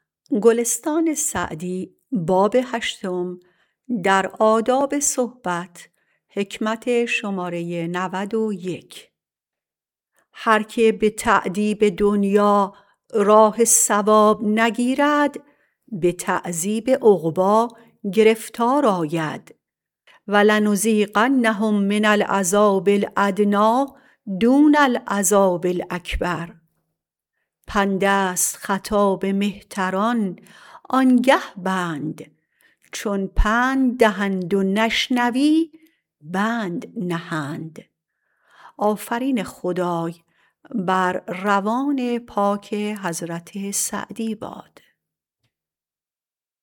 هر که به تأدیب دنیا راه صواب نگیرد به تعذیب عقبی گرفتار آید ولنذیقنهم من العذاب الأدنی دون العذاب الأکبر پند است خطاب مهتران آن گه بند چون پند دهند و نشنوی بند نهند